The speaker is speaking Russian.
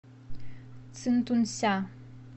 цинтунся